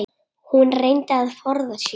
Hún reyndi að forða sér.